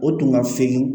O tun ka fin